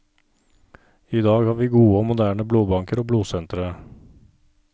I dag har vi gode og moderne blodbanker og blodsentre.